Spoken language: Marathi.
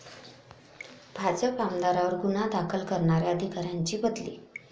भाजप आमदारावर गुन्हा दाखल करणाऱ्या अधिकाऱ्याची बदली